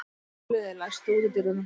Hafliði, læstu útidyrunum.